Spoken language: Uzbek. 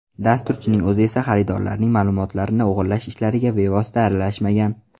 Dasturchining o‘zi esa xaridorlarning ma’lumotlarini o‘g‘irlash ishlariga bevosita aralashmagan.